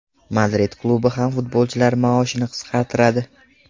Madrid klubi ham futbolchilar maoshini qisqartiradi.